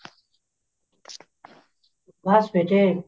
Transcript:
ਬਸ ਬੇਟੇ